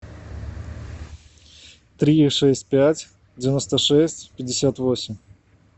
три шесть пять девяносто шесть пятьдесят восемь